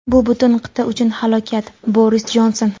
Bu butun qit’a uchun falokat – Boris Jonson.